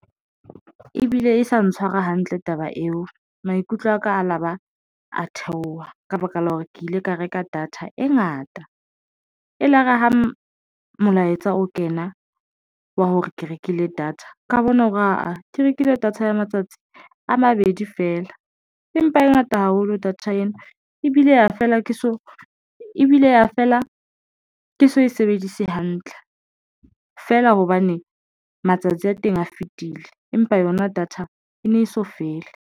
Ebile e sa ntshwara hantle taba eo maikutlo aka a lo ba a theoha ka baka la hore ke ile ka reka data e ngata. Elare ha molaetsa o kena ng wa hore ke rekile data ka ho bona hore a ke rekile data ya matsatsi a mabedi feela, empa e ngata haholo data eno ebile ya fela. Ke so ebile ya fela. Ke so e sebedise hantle fela hobane matsatsi a teng a fetile, empa yona data e ne so fele.